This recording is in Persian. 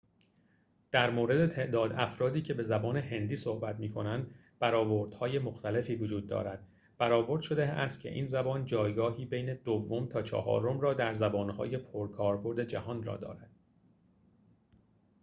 در مورد تعداد افرادی که به زبان هندی صحبت می‌کنند برآوردهای مختلفی وجود دارد برآورد شده است که این زبان جایگاهی بین دوم تا چهارم را در زبان‌های پرکاربرد جهان دارد